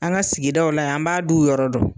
An ka sigidaw la yan , an b'a duw yɔrɔ dɔn.